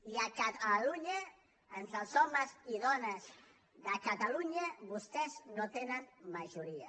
i a catalunya entre els homes i dones de catalunya vostès no tenen majoria